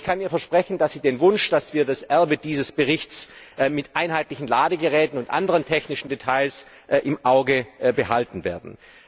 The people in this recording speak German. Ich kann ihr versprechen, dass wir ihrem Wunsch folgen und das Erbe dieses Berichts mit einheitlichen Ladegeräten und anderen technischen Details im Auge behalten werden.